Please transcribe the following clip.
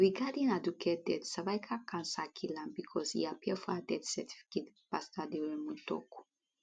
regarding aduke death cervical cancer kill am becos e appear for her death certificate pastor aderounmu tok